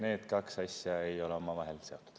Need kaks asja ei ole omavahel seotud.